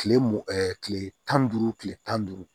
Kile m ɛɛ kile tan ni duuru kile tan ni duuru